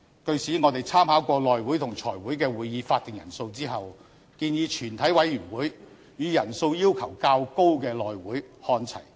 據此，我們參考過內務委員會和財務委員會的會議法定人數後，建議全體委員會與人數要求較高的內務委員會看齊。